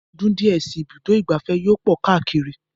Ní ọdún díẹ̀ si, ibùdó ìgbafẹ́ yóò pọ̀ káàkiri